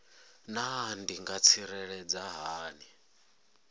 naa ndi nga ḓitsireledza hani